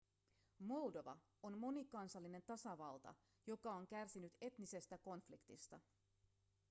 moldova on monikansallinen tasavalta joka on kärsinyt etnisestä konfliktista